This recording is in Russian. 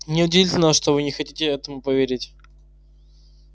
не удивительно что вы не хотите этому поверить